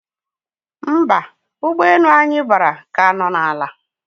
Mba, ụgbọ enu anyi bara ka no na ala